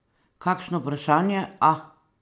Kakšno vprašanje, a?